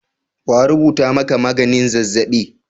Wa rubuta maka magnin zazzaɓi?